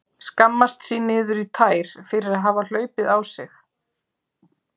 Skammast sín niður í tær fyrir að hafa hlaupið á sig.